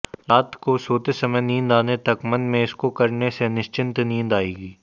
रात को सोते समय नींद आने तक मन में इसको करने से निश्चिंत नींद आएगी